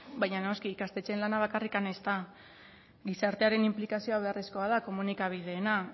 baina noski ikastetxeen lana bakarrik ez da gizartearen inplikazioa beharrezkoa da komunikabideena